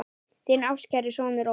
Þinn ástkæri sonur, Ómar.